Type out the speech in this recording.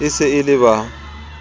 e se e le ba